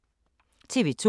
TV 2